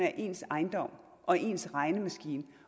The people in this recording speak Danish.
er ens ejendom og ens regnemaskine